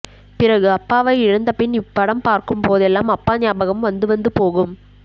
பிறகு அப்பாவை இழந்தபின் இப்படம் பார்க்கும் போதெல்லாம் அப்பா ஞாபகம் வந்துவந்து போகும்